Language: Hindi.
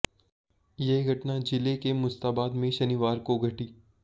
यह घटना जिले के मुस्ताबाद में शनिवार को घटी